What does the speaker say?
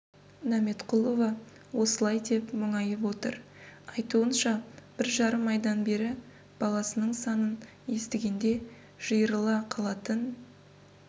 нәметқұлова осылай деп мұңайып отыр айтуынша бір жарым айдан бері баласының санын естігенде жиырыла қалатын